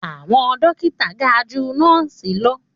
Àwọn dókítà ga ju nọ́ọ̀sì lọ